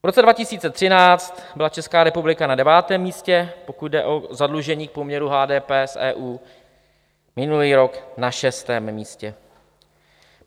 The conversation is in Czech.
V roce 2013 byla Česká republika na devátém místě, pokud jde o zadlužení v poměru HDP s EU, minulý rok na šestém místě.